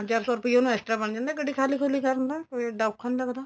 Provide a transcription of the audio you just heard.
ਪੰਜ ਚਾਰ ਸੋ ਰੁਪਇਆ ਇਸ ਤਰ੍ਹਾਂ ਬਣ ਜਾਂਦਾ ਗੱਡੀ ਖਾਲੀ ਖੁਲੀ ਕਰਨ ਦਾ ਕੋਈ ਇੱਡਾ ਔਖਾ ਨੀਂ ਲੱਗਦਾ